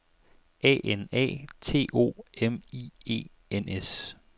A N A T O M I E N S